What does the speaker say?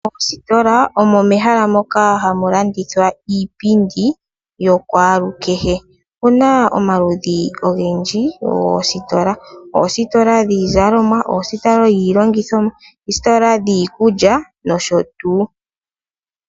Moostola omo mehala moka hamu lanndithwa iipindi yokwaalu kehe. Otuna omaludhi ogendji goostola, oostola dhiizalomwa, oostola dhiilongithomwa, oostola dhii kulya nosho tuu.